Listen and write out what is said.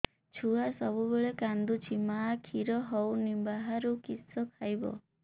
ଛୁଆ ସବୁବେଳେ କାନ୍ଦୁଚି ମା ଖିର ହଉନି ବାହାରୁ କିଷ ଖାଇବ